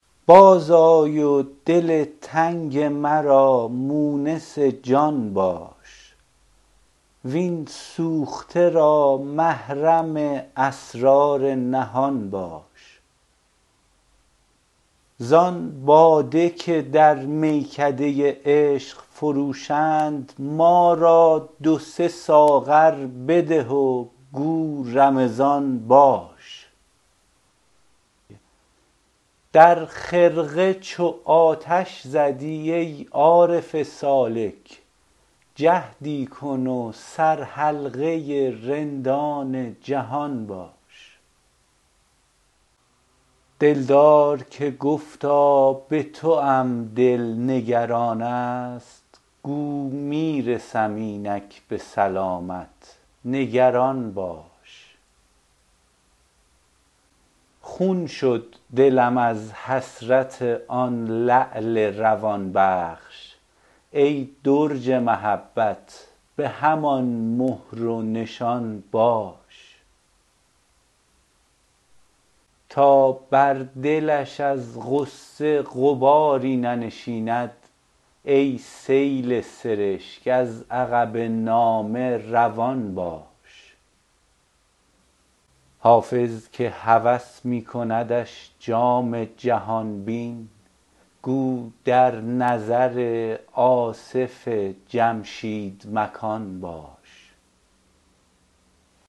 باز آی و دل تنگ مرا مونس جان باش وین سوخته را محرم اسرار نهان باش زان باده که در میکده عشق فروشند ما را دو سه ساغر بده و گو رمضان باش در خرقه چو آتش زدی ای عارف سالک جهدی کن و سرحلقه رندان جهان باش دلدار که گفتا به توام دل نگران است گو می رسم اینک به سلامت نگران باش خون شد دلم از حسرت آن لعل روان بخش ای درج محبت به همان مهر و نشان باش تا بر دلش از غصه غباری ننشیند ای سیل سرشک از عقب نامه روان باش حافظ که هوس می کندش جام جهان بین گو در نظر آصف جمشید مکان باش